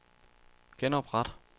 genopret